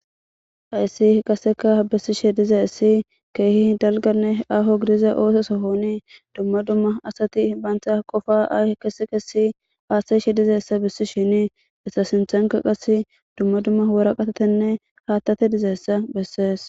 Hayssi h qaseka bissishe dizeessi keehi dalganne aho gidiza oososohonii dumma dumma asati baantha qofa ahi kase kasi haathtashe dizeessa bissi shini essa sinthanka qas dumma dumma wora qatatenne haattate dizeessa bessees